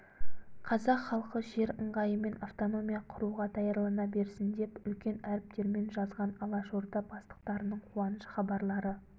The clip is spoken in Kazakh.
қазақ халқы жер ыңғайымен автономия құруға даярлана берсін деп үлкен әріптермен жазған алашорда бастықтарының қуаныш хабарлары